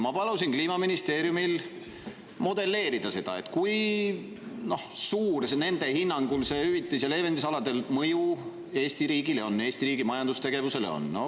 Ma palusin Kliimaministeeriumil modelleerida, kui suur on nende hinnangul hüvitus‑ ja leevendusalade mõju Eesti riigile, Eesti riigi majandustegevusele.